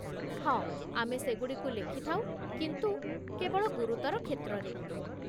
ହଁ, ଆମେ ସେଗୁଡ଼ିକୁ ଲେଖିଥାଉ, କିନ୍ତୁ କେବଳ ଗୁରୁତର କ୍ଷେତ୍ରରେ।